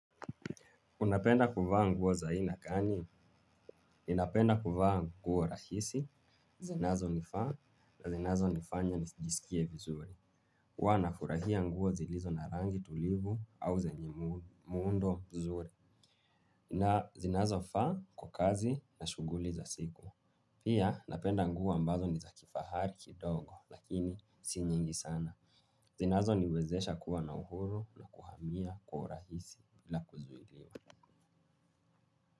Unapenda kuvaa nguo za aina gani ninapenda kuvaa nguo rahisi zinazonifaa na zinazo nifanya nijisikie vizuri huw nafurahia nguo zilizo na rangi tulivu au zenye muundo mzuri. Na zinazo faa kwa kazi na shughuli za siku. Pia napenda nguo ambazo ni za kifahari kidogo lakini si nyingi sana. Zinazo niwezesha kuwa na uhuru na kuhamia kwa urahisi bila kuzuiliwa.